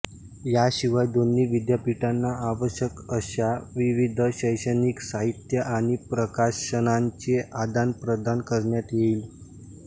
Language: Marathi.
याशिवाय दोन्ही विद्यापीठाना आवश्यक अशा विविध शैक्षणिक साहित्य आणि प्रकाशनांचे आदानप्रदान करण्यात येईल